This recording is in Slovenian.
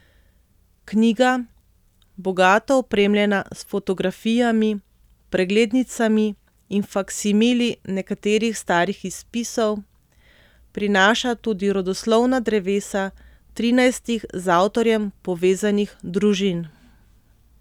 Knjiga, bogato opremljena s fotografijami, preglednicami in faksimili nekaterih starih izpisov, prinaša tudi rodoslovna drevesa trinajstih z avtorjem povezanih družin.